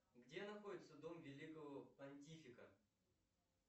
где находится дом великого понтифика